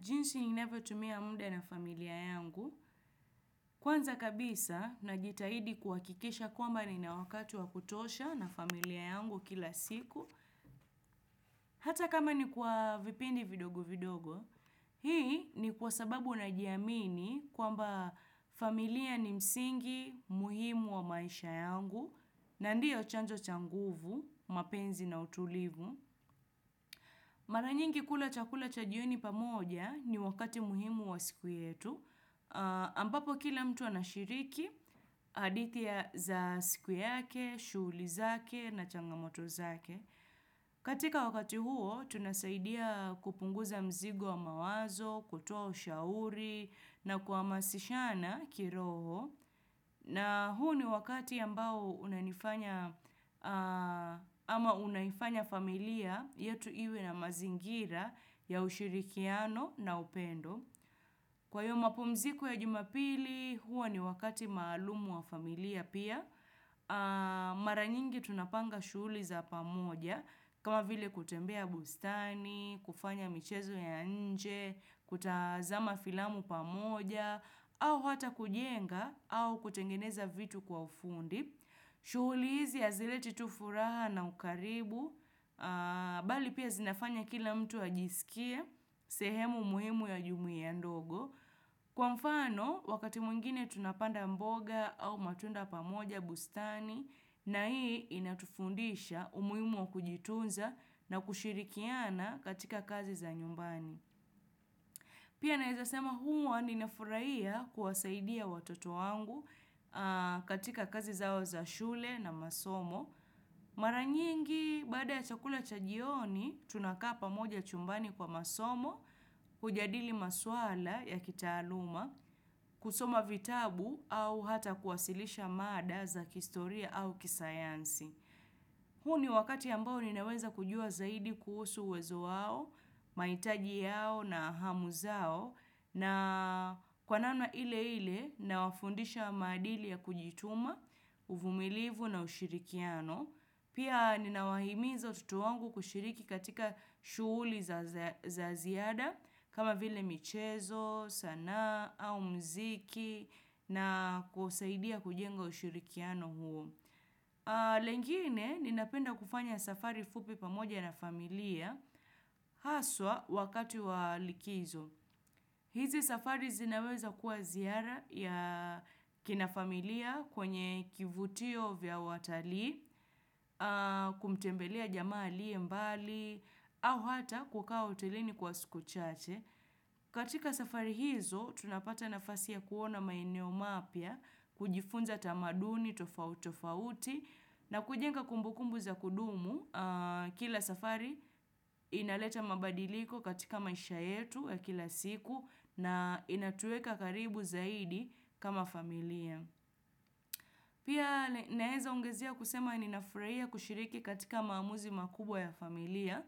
Jinsi ninavyotumia muda na familia yangu. Kwanza kabisa, najitahidi kuhakikisha kwamba nina wakati wa kutosha na familia yangu kila siku. Hata kama ni kwa vipindi vidogo vidogo, hii ni kwa sababu najiamini kwamba familia ni msingi muhimu wa maisha yangu, na ndio chanzo cha nguvu, mapenzi na utulivu. Mara nyingi kula chakula cha jioni pamoja ni wakati muhimu wa siku yetu, ambapo kila mtu anashiriki hadithi za siku yake, shughuli zake na changamoto zake. Katika wakati huo, tunasaidia kupunguza mzigo wa mawazo, kutoa ushauri na kuhamasishana kiroho. Na huo ni wakati ambao unanifanya Unaifanya familia yetu iwe na mazingira ya ushirikiano na upendo. Kwenye mapumziko ya jumapili, huwa ni wakati maalumu wa familia pia. Mara nyingi tunapanga shughuli za pamoja, kama vile kutembea bustani, kufanya michezo ya nje, kutazama filamu pamoja, au hata kujenga, au kutengeneza vitu kwa ufundi. Shughuli hizi hazileti tu furaha na ukaribu, bali pia zinafanya kila mtu ajisikie sehemu muhimu ya jumuia ndogo. Kwa mfano, wakati mungine tunapanda mboga au matunda pamoja bustani, na hii inatufundisha umuhimu wa kujitunza na kushirikiana katika kazi za nyumbani. Pia naweza sema huwa ninafurahia kuwasaidia watoto wangu katika kazi zao za shule na masomo. Mara nyingi baada ya chakula cha jioni tunakaa pamoja chumbani kwa masomo, kujadili maswala ya kitaaluma, kusoma vitabu au hata kuwasilisha mada za kihistoria au kisayansi. Huu ni wakati ambao ninaweza kujua zaidi kuhusu uwezo wao, mahitaji yao na hamu zao na kwa namna ile ile nawafundisha maadili ya kujituma, uvumilivu na ushirikiano. Pia ninawahimiza watoto wangu kushiriki katika shughuli za ziada kama vile michezo, sanaa au muziki na kusaidia kujenga ushirikiano huo. Lengine ninapenda kufanya safari fupi pamoja na familia haswa wakati wa likizo. Hizi safari zinaweza kuwa ziara ya kina familia kwenye kivutio vya watalii, kumtembelea jamaa aliye mbali, au hata kukaa hotelini kwa siku chache. Katika safari hizo, tunapata nafasi ya kuona maeneo mapya, kujifunza tamaduni tofauti tofauti na kujenga kumbukumbu za kudumu kila safari. Inaleta mabadiliko katika maisha yetu ya kila siku na inatuweka karibu zaidi kama familia. Pia naweza ongezea kusema ninafurahia kushiriki katika maamuzi makubwa ya familia,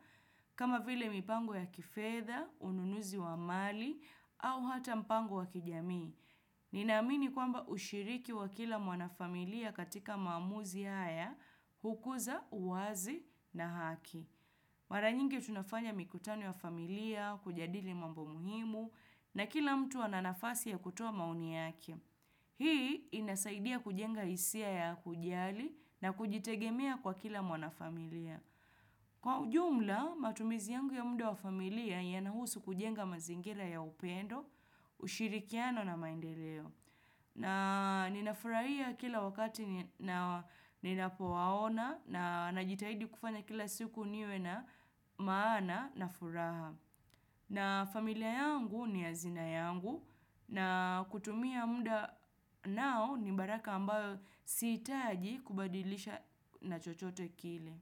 kama vile mipango ya kifedha, ununuzi wa mali, au hata mpango wa kijamii. Ninaamini kwamba ushiriki wa kila mwana familia katika maamuzi haya, hukuza uwazi na haki. Mara nyingi tunafanya mikutano ya familia, kujadili mambo muhimu, na kila mtu ana nafasi ya kutoa maoni yake. Hii inasaidia kujenga hisia ya kujali na kujitegemea kwa kila mwanafamilia. Kwa ujumla, matumizi yangu ya muda wa familia yanahusu kujenga mazingira ya upendo, ushirikiano na maendeleo. Na ninafurahia kila wakati ninapowaona na najitahidi kufanya kila siku niwe na maana na furaha. Na familia yangu ni hazina yangu na kutumia muda nao ni baraka ambayo sihitaji kubadilisha na chochote kile.